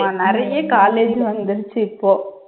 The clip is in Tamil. ஆமா நிறைய college வந்திடுச்சு இப்போ